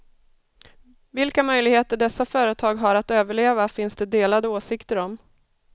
Vilka möjligheter dessa företag har att överleva finns det delade åsikter om.